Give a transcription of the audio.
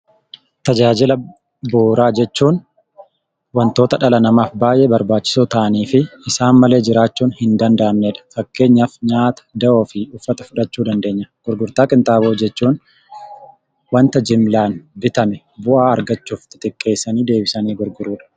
Tajaajila bu'uuraa jechuun wantoota dhala namaaf baayyee barbaachisoo ta'aniifi isaan malee jiraachuun hin danda'amnedha. Fakkeenyaaf nyaata, da'oofi kan uffata fudhachuu dandeenya. Gurgurtaa qinxaaboo jechuun wanta jimlaan bitame bu'aa irraa argachuuf xixiqqeessanii deebisanii gurguudha.